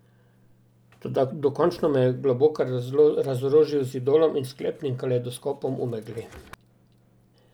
Toda dokončno me je Globokar razorožil z Idolom in sklepnim Kalejdoskopom v megli.